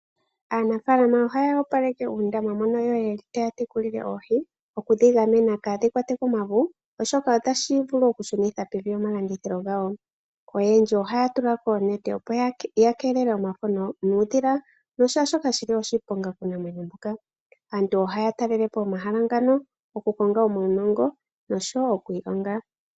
Aanafaalama ohaya opaleke uundama moka taya tekulile oohi, okudhi gamena kaadhi kwatwe komavu, oshoka otashi vulu okushunitha pevi omalandithilo gawo. Oyendji ohaya tula ko oonete, opo ya keelele omafo nuudhila nashaashoka shi li oshiponga kuunamwenyo mbuka. Aantu ohaya talele po omahala ngaka okukonga uunongo noshowo okuilonga.